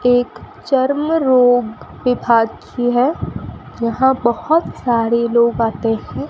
एक चर्म रोग विभाग की हैं यहाँ बहोत सारी लोग आते हैं।